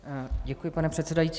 Děkuji, pane předsedající.